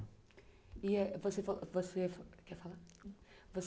E eh você falou que você